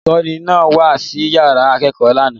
Olùkọ́ní náà wá sí ìyàrá ìkẹ́kọ̀ọ́ lánàá.